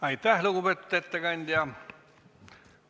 Aitäh, lugupeetud ettekandja!